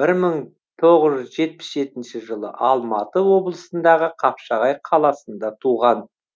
бір мың тоғыз жүз жетпіс жетінші жылы алматы облысындағы қапшағай қаласында туған